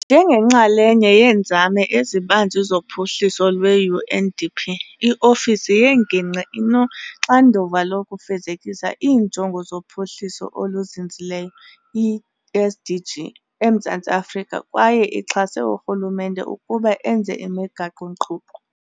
Njengenxalenye yeenzame ezibanzi zophuhliso lwe-UNDP, i-ofisi yengingqi inoxanduva lokufezekisa iiNjongo zoPhuhliso oluZinzileyo, i-SDG, eMzantsi Afrika kwaye ixhase urhulumente ukuba enze imigaqo-nkqubo.